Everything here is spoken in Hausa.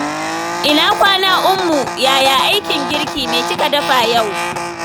Ina kwana Ummu, yaya aikin girki? Me kika dafa yau?